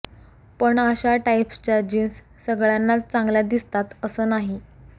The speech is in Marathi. पण अशा टाईप्सच्या जिन्स सगळ्यांनाच चांगल्या दिसतात असं नाही